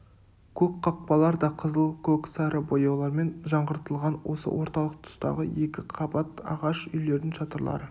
көп қақпалар да қызыл көк сары бояулармен жаңғыртылған осы орталық тұстағы екі қабат ағаш үйлердің шатырлары